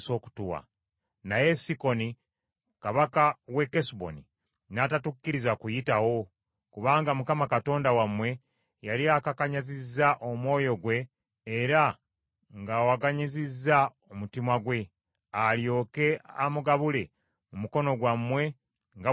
Naye Sikoni Kabaka wa Kesuboni n’atatukkiriza kuyitawo. Kubanga Mukama Katonda wammwe yali akakanyazizza omwoyo gwe era ng’awaganyazizza omutima gwe, alyoke amugabule mu mukono gwammwe nga bwe kiri leero.